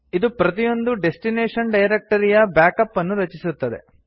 ಇದು ಪ್ರತಿಯೊಂದು ಡೆಸ್ಟಿನೇಶನ್ ಡೈರಕ್ಟರಿಯ ಬ್ಯಾಕ್ಅಪ್ ಅನ್ನು ರಚಿಸುತ್ತದೆ